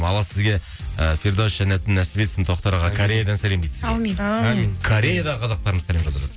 алла сізге і фирдаус жәннатын нәсіп етсін тоқтар аға кореядан сәлем дейді сізге әумин әумин кореядағы қазақтарымыз сәлем